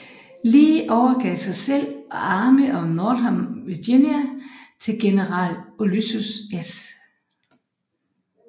Lee overgav sig selv og Army of Northern Virginia til general Ulysses S